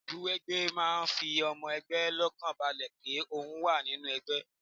Ìmúwẹgbẹ́ máa ń fi ọmọ ẹgbẹ́ lọ́kànbalẹ̀ pé ohun wa nínú ẹgbẹ́